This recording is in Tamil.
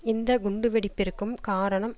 இந்த குண்டு வெடிப்பிற்கும் காரணம்